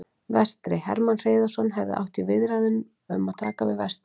Vestri: Hermann Hreiðarsson hefur átt í viðræðum um að taka við Vestra.